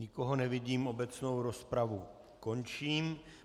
Nikoho nevidím, obecnou rozpravu končím.